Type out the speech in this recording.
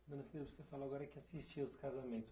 você falou agora que assistia os casamentos.